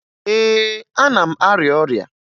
Ee, ana m arịa ọrịa